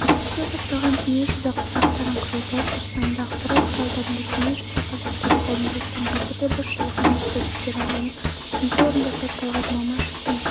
кеше басталған дүниежүзі қазақтарының құрылтайы қарсаңында ақпарат құралдарында дүниежүзі қазақтары қауымдастығының қазіргі басшылығына әсіресе төрағаның бірінші орынбасары талғат мамашевтың